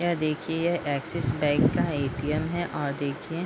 यह देखिये यह एक्सिस बैंक का ए.टी.एम. है और देखिये --